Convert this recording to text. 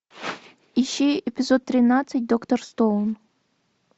ищи эпизод тринадцать доктор стоун